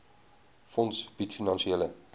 fonds bied finansiële